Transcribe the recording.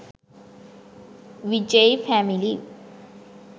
vijay family